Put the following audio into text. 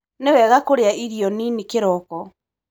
Nĩwega kũrĩa irio nini kĩroko.